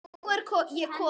Og nú er ég komin!